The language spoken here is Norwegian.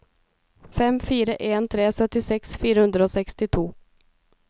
fem fire en tre syttiseks fire hundre og sekstito